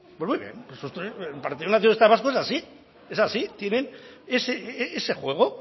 pues muy bien el partido nacionalista vasco es así es así tienen ese juego